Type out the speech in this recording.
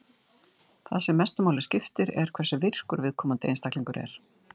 Það sem mestu máli skiptir er hversu virkur viðkomandi einstaklingur er.